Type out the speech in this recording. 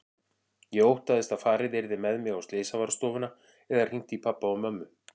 Ég óttaðist að farið yrði með mig á slysavarðstofuna eða hringt í pabba og mömmu.